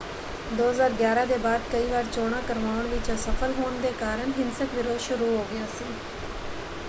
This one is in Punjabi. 2011 ਦੇ ਬਾਅਦ ਕਈ ਵਾਰ ਚੋਣਾਂ ਕਰਵਾਉਣ ਵਿੱਚ ਅਸਫ਼ਲ ਹੋਣ ਦੇ ਕਾਰਨ ਹਿੰਸਕ ਵਿਰੋਧ ਸ਼ੁਰੂ ਹੋ ਗਿਆ ਸੀ।